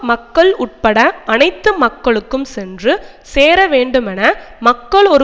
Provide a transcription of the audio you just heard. மக்கள் உட்பட அனைத்து மக்களுக்கும் சென்று சேர வேண்டுமென மக்கள் ஒரு